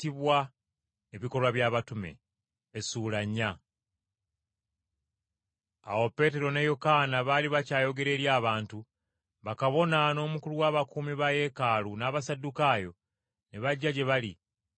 Awo Peetero ne Yokaana baali bakyayogera eri abantu, bakabona, n’omukulu w’abakuumi ba Yeekaalu n’Abasaddukaayo ne bajja gye bali,